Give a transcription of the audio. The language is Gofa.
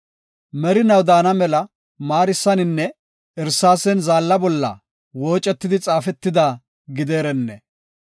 Merinaw daana mela maarisaninne irsaasen zaalla bolla woocetidi xaafetida gideerenne!